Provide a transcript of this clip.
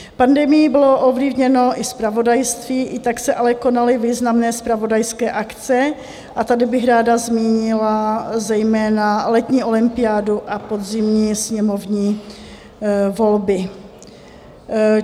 Pandemií bylo ovlivněno i zpravodajství, i tak se ale konaly významné zpravodajské akce, a tady bych ráda zmínila zejména letní olympiádu a podzimní sněmovní volby.